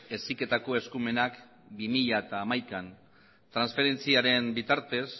heziketako eskumenak bi mila hamaikan transferentziaren bitartez